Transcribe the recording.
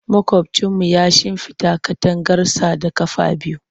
Makwabcinmu ya shimfida katangarsa da ƙafa biyu.